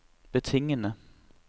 betingede